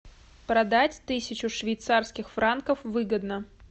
продать тысячу швейцарских франков выгодно